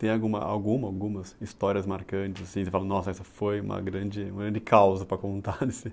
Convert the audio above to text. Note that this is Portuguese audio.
Tem aguma alguma, algumas histórias marcantes, assim, você falou, nossa, essa foi uma grande, uma grande causa para contar, assim.